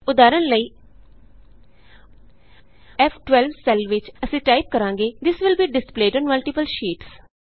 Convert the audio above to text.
ਉਦਾਹਰਣ ਲਈF 12ਸੈੱਲ ਵਿਚ ਅਸੀਂ ਟਾਈਪ ਕਰਾਂਗੇ this will be displayed on multiple sheets